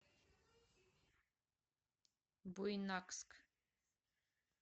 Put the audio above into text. буйнакск